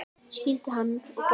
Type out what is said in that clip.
Skildu hann og Gugga?